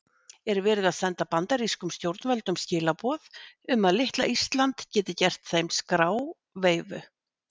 Er verið að senda bandarískum stjórnvöldum skilaboð um að litla Ísland geti gert þeim skráveifu?